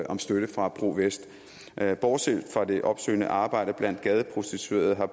om støtte fra pro vest bortset fra det opsøgende arbejde blandt gadeprostituerede har